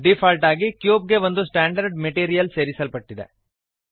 default ಆಗಿ cube ಗೆ ಒಂದು ಸ್ಟಾಂಡರ್ಡ್ ಮೆಟೀರಿಯಲ್ ಸೇರಿಸಲ್ಪಟ್ಟಿದೆ